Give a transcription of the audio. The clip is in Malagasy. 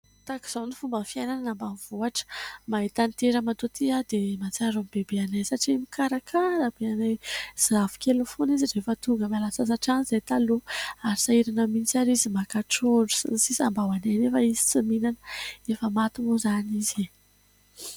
Tahaka izao ny fomba fiainana any ambamivohitra, mahita an'ity ramatoa ity aho dia mahatsiaro ny bebe anay, satria mikarakara be anay zafikeliny foana izy rehefa tonga miala sasatra any izahay taloha, ary sahirana mihitsy ary izy maka trondro sy ny sisa mba ho anay nefa izy tsy mihinana ; efa maty moa izany izy.